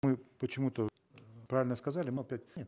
мы почему то правильно сказали но опять нет